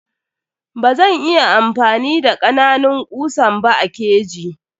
Bazan iya amfani da kananun kusan ba a keji.